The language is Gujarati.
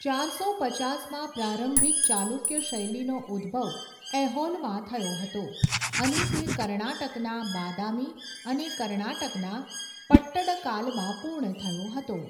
ચારસો પચાસમાં પ્રારંભિક ચાલુક્ય શૈલીનો ઉદ્ભવ ઐહોલમાં થયો હતો અને તે કર્ણાટકના બાદામી અને કર્ણાટકના પટ્ટડકાલમાં પૂર્ણ થયો હતો.